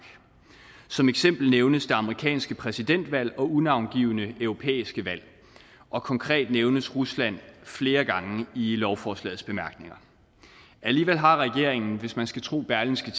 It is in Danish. som eksempler nævnes det amerikanske præsidentvalg og unavngivne europæiske valg og konkret nævnes rusland flere gange i lovforslagets bemærkninger alligevel har regeringen hvis man skal tro berlingske